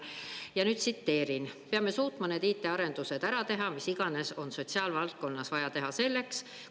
Ja nüüd tsiteerin: "… peame suutma need IT-arendused ära teha, mis iganes on sotsiaalvaldkonnas vaja selleks teha.